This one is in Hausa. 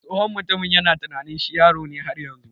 Tsohon mutumin yana tunanin shi yaro ne har yanzu.